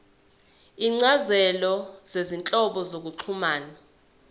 izincazelo zezinhlobo zokuxhumana